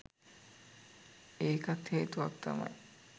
ඒකත් හේතුවක් තමයි.